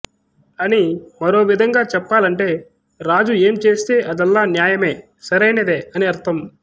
అని మరో విధంగా చెప్పాలంటే రాజు ఏం చేస్తే అదల్లా న్యాయమే సరైనదే అని అర్థం